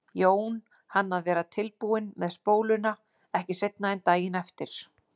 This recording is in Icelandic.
Jón hann að vera tilbúinn með spóluna ekki seinna en daginn eftir.